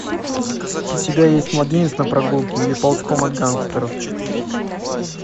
у тебя есть младенец на прогулке или ползком от гангстеров